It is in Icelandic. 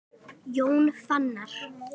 Jón Fannar.